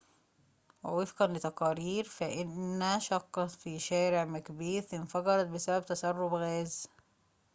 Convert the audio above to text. ووفقًا لتقارير فإنّ شقّة في شارع مكبيث انفجرت بسبب تسرّب غاز